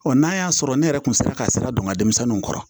n'a y'a sɔrɔ ne yɛrɛ kun sera ka sira don nka denmisɛnninw kɔrɔ